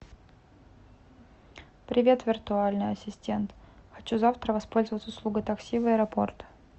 привет виртуальный ассистент хочу завтра воспользоваться услугой такси в аэропорт